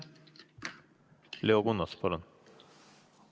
Leo Kunnas, palun!